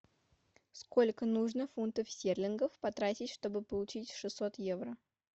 сколько нужно фунтов стерлингов потратить чтобы получить шестьсот евро